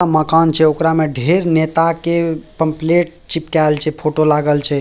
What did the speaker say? मकान छै ओकरा में ढेर नेता के पंपलेट चिपकाएल छै फोटो लागल छै।